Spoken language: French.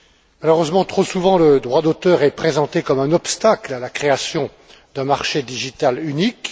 Malheureusement, trop souvent, le droit d'auteur est présenté comme un obstacle à la création d'un marché numérique unique.